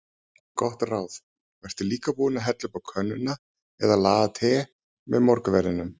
Gott ráð: Vertu líka búinn að hella upp á könnuna eða laga te með morgunverðinum.